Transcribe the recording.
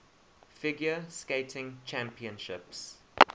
figure skating championships